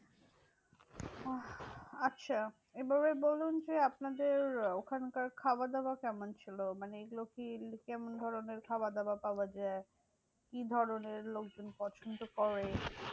আচ্ছা এবারে বলুন যে, আপনাদের আহ ওখানকার খাওয়া দাওয়া কেমন ছিল? মানে এইগুলো কি কেমন ধরণের খাবার দাবার পাওয়া যায়? কি ধরণের লোকজন পছন্দ করে?